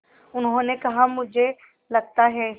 उन्होंने कहा मुझे लगता है